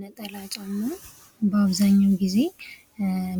ነጠላ ጫማ በአብዛኛውን ጊዜ